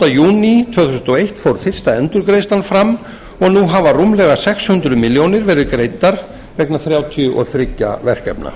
júní tvö þúsund og eitt fór fyrsta endurgreiðslan fram og nú hafa rúmlega sex hundruð milljónir verið greiddar vegna þrjátíu og þriggja verkefna